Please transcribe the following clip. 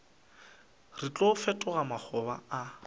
re tlo fetoga makgoba a